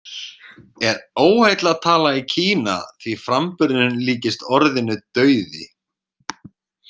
Er óheillatala í Kína því framburðurinn líkist orðinu „dauði“.